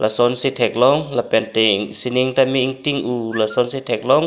lason si thek long lapen te singning tame ingting hu ason si thek long.